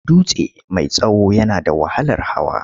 Dutse mai tsawo yana da wahalar hawa.